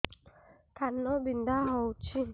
କାନ ବିନ୍ଧା ହଉଛି